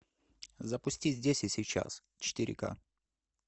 запусти здесь и сейчас четыре ка